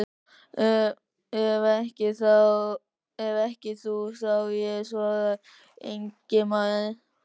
Ef ekki þú, þá ég, svaraði Ingimundur.